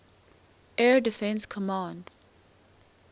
air defense command